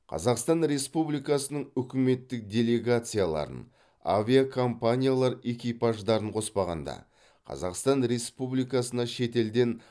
қазақстан республикасының үкіметтік делегацияларын авиакомпаниялар экипаждарын қоспағанда қазақстан республикасына шетелден